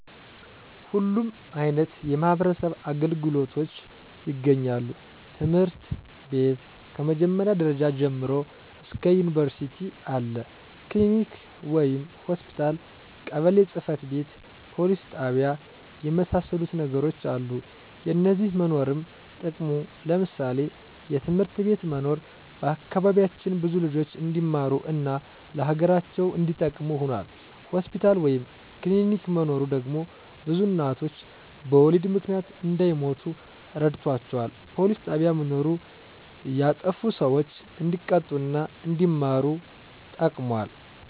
ሁሉም አይነት የማህበረሰብ አገልግሎቶች ይገኛሉ ትምህርት ቤት ከ መጀመሪያ ደረጃ ጀምሮ እስከ ዩኒቨርስቲ አለ፣ ክሊኒክ ወይም ሆስፒታል፣ ቀበሌ ጽ/ቤት፣ ፖሊስ ጣቢያ የመሳሰሉት ነገሮች አሉ። የነዚህ መኖርም ጥቅሙ ለምሳሌ፦ የትምህርት ቤት መኖር በአካባቢያችን ብዙ ልጆች እንዲማሩ እና ለሀገራቸው እንዲጠቅሙ ሁኗል። ሆስፒታል ወይም ክሊኒክ መኖሩ ደግሞ ብዙ እናቶች በወሊድ ምክንያት እንዳይሞቱ ረድቷቸዋል። ፖሊስ ጣቢያ መኖሩ ያጠፉ ሰዎች እንዲቀጡ እና አንዲማሩ ተጠቅሟል።